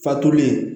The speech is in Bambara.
Fatulen